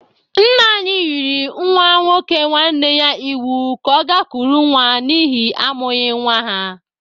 Nna anyị yịrị nwa nwoke nwanne ya iwu ka ọ ga kụrụ nwa n' ihi amụghị nwa ha!